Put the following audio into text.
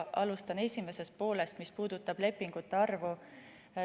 Alustan esimesest poolest, mis puudutab lepingute arvu.